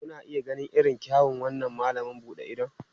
Kuna iya ganin irin kyawun wannan malam buɗe idon?